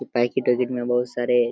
packet -अयकीट में बहुत सारे --